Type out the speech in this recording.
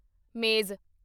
ਮੇਜ਼